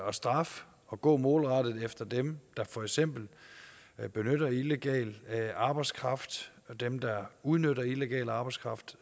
at straffe og gå målrettet efter dem der for eksempel benytter illegal arbejdskraft dem der udnytter illegal arbejdskraft